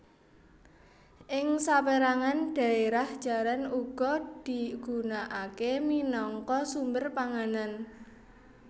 Ing sapérangan dhaérah jaran uga digunaaké minangka sumber panganan